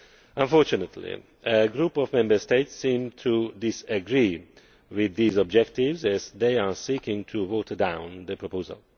Unfortunately, a group of Member States seem to disagree with these objectives as they are seeking to water down the proposal.